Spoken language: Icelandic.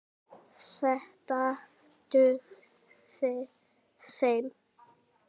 Þetta dugði þeim.